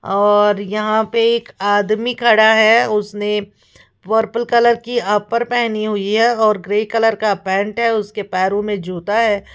और यहां पे एक आदमी खड़ा है उसने पर्पल कलर की अपर पहनी हुई है और ग्रे कलर का पैंट है उसके पैरों में जूता है।